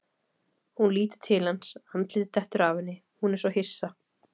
Hún lítur til hans, andlitið dettur af henni, hún er svo hissa.